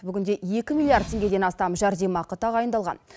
бүгінде екі миллиард теңгеден астам жәрдемақы тағайындалған